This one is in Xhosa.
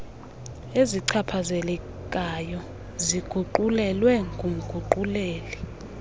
ezichaphazelekayo ziguqulelwe ngumguquleli